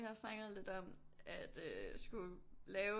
Vi har haft snakket lidt om at øh skulle lave